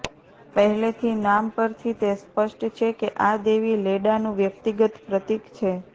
પહેલેથી નામ પરથી તે સ્પષ્ટ છે કે આ દેવી લેડાનું વ્યક્તિગત પ્રતીક છે